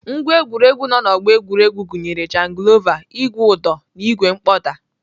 Ngwá egwuregwu nọ na ọgbọ egwuregwu gụnyere jangilova, ìgwè ụdọ na ìgwè mkpọda.